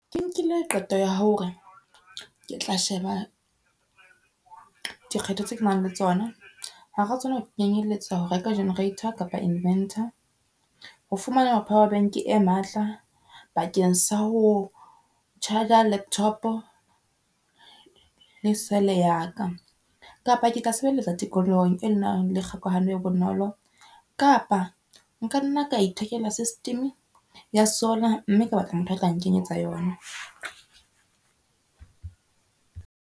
Ke nkile qeto ya hore, ke tla sheba dikgetho tse ke nang le tsona hara tsona ho kenyelletsa ho reka generator kapa inventor. Ho fumana power bank e matla bakeng sa ho charger laptop le sele ya ka. Kapa ke tla sebeletsa tikolohong e nang le kgokahano e bonolo kapa nkanna ka ithekela system ya sola mme ke batla motho a tla nkenyetsa yona.